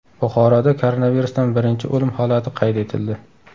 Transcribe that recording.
Buxoroda koronavirusdan birinchi o‘lim holati qayd etildi.